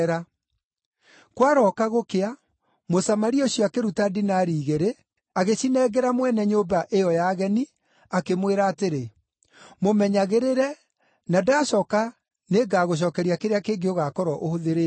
Kwarooka gũkĩa Mũsamaria ũcio akĩruta dinari igĩrĩ, agĩcinengera mwene nyũmba ĩyo ya ageni, akĩmwĩra atĩrĩ, ‘Mũmenyagĩrĩre, na ndacooka nĩngagũcookeria kĩrĩa kĩngĩ ũgaakorwo ũhũthĩrĩte.’